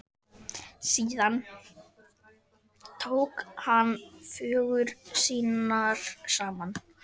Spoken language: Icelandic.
Síðan tók hann föggur sínar saman.